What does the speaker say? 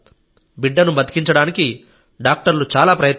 బిడ్డను బతికించడానికి డాక్టర్లు చాలా ప్రయత్నించారు